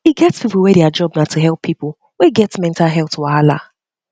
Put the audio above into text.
e get pipo wey their job na to help help pipo wey get mental health wahala